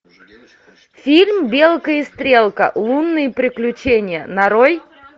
фильм белка и стрелка лунные приключения нарой